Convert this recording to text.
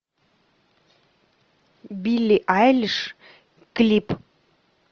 билли айлиш клип